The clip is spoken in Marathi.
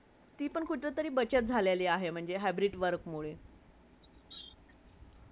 ती पण कुठेतरी बचत झालेली आहे hybrid work मुळे